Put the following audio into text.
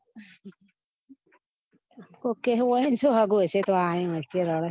કોક એવું હોય ને તો